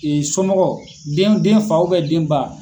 somɔgɔ den den fa den ba.